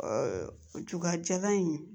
juga jalan in